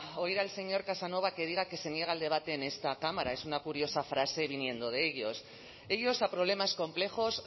oír al señor casanova que diga que se niega el debate en esta cámara es una curiosa frase viniendo de ellos ellos a problemas complejos